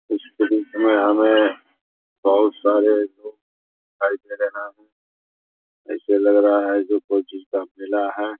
उसके बीच मे हमे बहुत सारे लोग दिखाई दे रहे है ऐसे लग रहा है की कोई चीज़ का मेला है |